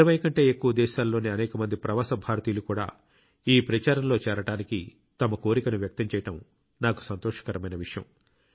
20 కంటే ఎక్కువ దేశాలలోని అనేక మంది ప్రవాస భారతీయులు కూడా ఈ ప్రచారంలో చేరడానికి తమ కోరికను వ్యక్తం చేయడం నాకు సంతోషకరమైన విషయం